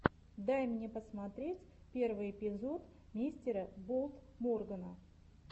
дай мне посмотреть первый эпизод мистера болд моргана